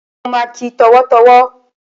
Ó ma kí ẹ tọ̀wọ̀tọ̀wọ̀.